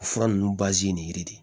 O fura ninnu nin yiri de